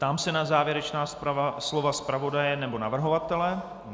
Ptám se na závěrečná slova zpravodaje nebo navrhovatele?